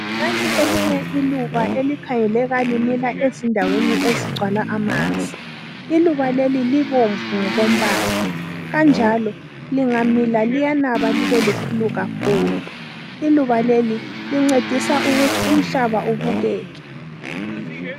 Nanti elinye iluba elikhangeleka limila endaweni ezigcwala amanzi. Iluba leli libomvu ngokombala kanjalo lingamila liyanaba libe likhulu kakhulu. lluba leli lincedisa ukuthi umhlaba ubukeke.